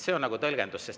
See on tõlgendus.